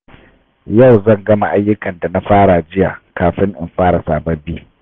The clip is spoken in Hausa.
Yau zan gama ayyukan da na fara jiya kafin in fara sababbi.